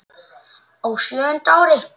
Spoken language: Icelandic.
Á sjöunda ári